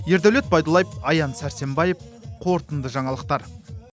ердәулет байдуллаев аян сәрсенбаев қорытынды жаңалықтар